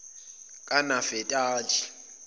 kanafetali